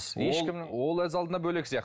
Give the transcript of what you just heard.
ол ол өз алдына бөлек сияқты